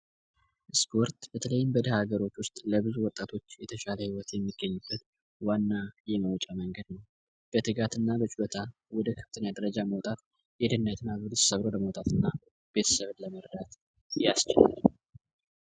እስክወርት በተለይም በደህ ሀገሮች ውስጥ ለብዙ ወጣቶች የተሻለ ሕይወት የሚገኝበት ዋና ይህመውጨ መንገድ ነው በትጋት እና በጭሎታን ወደ ከፍተንያደረጃ መውጣት የድነትና በልስ ሰብር ወደ መውጣት እና ቤተሰብድ ለመረዳት ያስቸለል፡፡